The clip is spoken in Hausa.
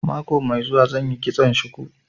Mako mai zuwa zan yi kitson shuku